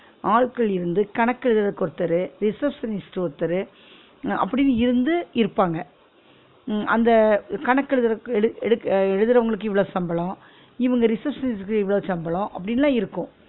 ஆட்கள் இருந்து கணக்கு எழுதுறதுக்கு ஒருத்தரு receptionist ஒருத்தரு அ அப்டின்னு இருந்து இருப்பாங்க உம் அந்த கணக்கு எழுதுறதுக் எடுக் எடுக் எழுதுறவங்களுக்கு இவ்ளோ சம்பளம் இவுங்க receptionist க்கு இவ்ளோ சம்பளம் அப்டின்னுலாம் இருக்கும்